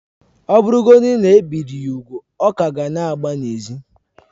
Ọ bụrụgodị na e biri ya úgwù, ọ ka ga na-agba n'ezi